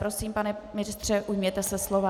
Prosím, pane ministře, ujměte se slova.